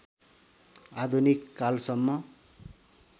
आधुनिक कालसम्म